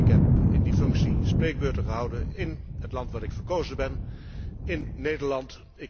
Ik heb in die functie spreekbeurten gehouden in het land waar ik verkozen ben, in Nederland.